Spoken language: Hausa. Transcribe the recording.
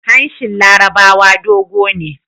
Hanshin larabawa dogo ne